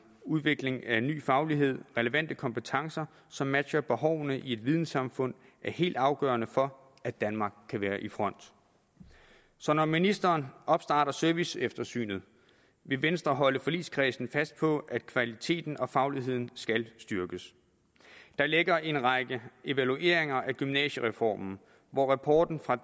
udvikling af ny faglighed og relevante kompetencer som matcher behovene i et videnssamfund er helt afgørende for at danmark kan være i front så når ministeren opstarter serviceeftersynet vil venstre holde forligskredsen fast på at kvaliteten og fagligheden skal styrkes der ligger en række evalueringer af gymnasiereformen og hvor rapporten fra